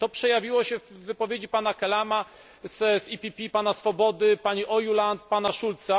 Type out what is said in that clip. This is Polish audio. To przejawiło się w wypowiedzi pana Kelama z EPP, pana Swobody, pani Ojuland, pana Schulza.